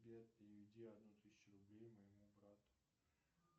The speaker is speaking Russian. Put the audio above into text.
сбер переведи одну тысячу рублей моему брату